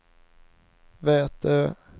Vätö